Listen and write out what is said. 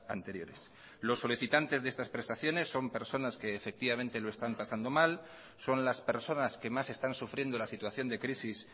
anteriores los solicitantes de estas prestaciones son personas que efectivamente lo están pasando mal son las personas que más están sufriendo la situación de crisis